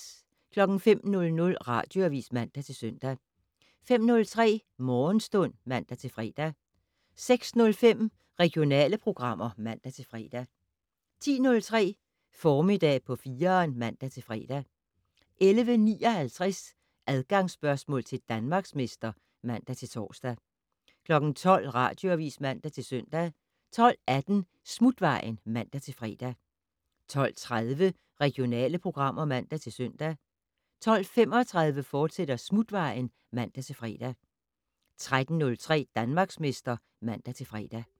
05:00: Radioavis (man-søn) 05:03: Morgenstund (man-fre) 06:05: Regionale programmer (man-fre) 10:03: Formiddag på 4'eren (man-fre) 11:59: Adgangsspørgsmål til Danmarksmester (man-tor) 12:00: Radioavis (man-søn) 12:18: Smutvejen (man-fre) 12:30: Regionale programmer (man-søn) 12:35: Smutvejen, fortsat (man-fre) 13:03: Danmarksmester (man-fre)